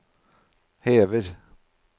hever